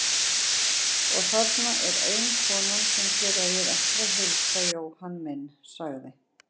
Og þarna er ein konan sem þér eigið eftir að heilsa Jóhann minn, sagði